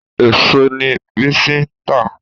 Èèso ni Bisi ń tà